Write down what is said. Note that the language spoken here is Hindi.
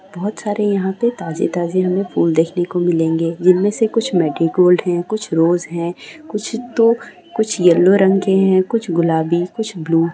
बहुत सारे हमें यहां पे ताजे-ताजे फूल देखने को मिलेंगे जिनमें से कुछ मेरीगोल्ड है कुछ रोज है कुछ तो कुछ येलो रंग के हैं कुछ गुलाबी कुछ ब्लू ।